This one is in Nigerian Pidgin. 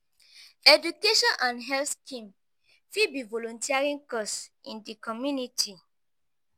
education and health scheme fit be volunteering cause in di community.